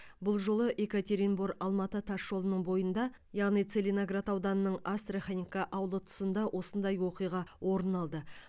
бұл жолы екатеринбор алматы тас жолының бойында яғни целиноград ауданының астраханка ауылы тұсында осындай оқиға орын алды